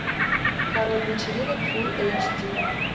король вечеринок фул эйч ди